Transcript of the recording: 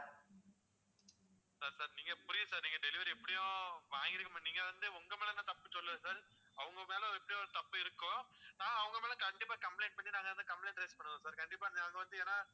sir sir நீங்க புரியுது sir நீங்க delivery எப்படியும் உம் வாங்கிருக்க மாட்டீங்க நீங்க வந்து உங்கமேல நான் தப்பு சொல்லல sir அவங்கமேல எப்படி தப்பு இருக்கோ, நான் அவங்கமேல கண்டிப்பா complaint பண்ணி நாங்க அந்த complain raise பண்ணுவோம் sir கண்டிப்பா நாங்க வந்து